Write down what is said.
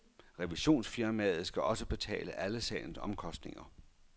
Revisionsfirmaet skal også betale alle sagens omkostninger.